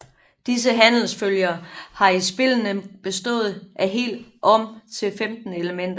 Disse handelsfølger har i spillene bestået af helt om til 15 elementer